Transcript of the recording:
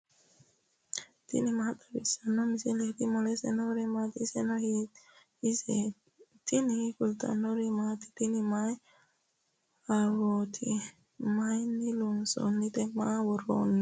tini maa xawissanno misileeti ? mulese noori maati ? hiissinannite ise ? tini kultannori mattiya? tinni mayi ahiwootti? mayiinni loosanittinno? mama woroonni?